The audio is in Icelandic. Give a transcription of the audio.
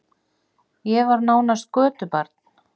Ég var nánast götubarn.